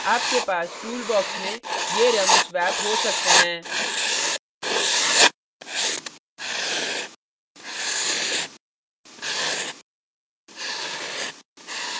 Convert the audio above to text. आपके पास tool box में ये रंग swaps हो सकते हैं